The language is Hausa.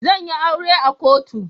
Zan yi aure a kotu.